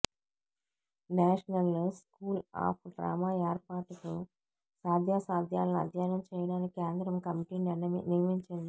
national School of Drama ఏర్పాటుకు సాధ్యాసాధ్యాలను అధ్యయనం చేయడానికి కేంద్రం కమిటీని నియమించింది